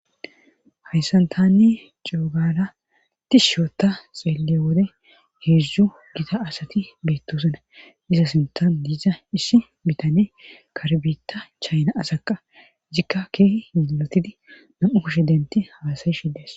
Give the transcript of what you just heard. Hayssan tanne coogala tishshiota xeelle wode heedzdzu gita asati beettosana iza sintan diiza issi bitane karbita chayna asaqa zikka keehi ilotidi nam7u kushe denti haasayi shildes.